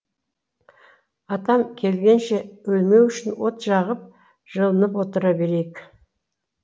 атам келгенше өлмеу үшін от жағып жылынып отыра берейік